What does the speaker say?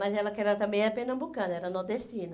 Mas ela que era também era pernambucana, era nordestina.